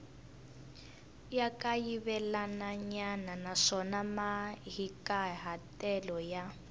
ra kayivelanyana naswona mahikahatelo ya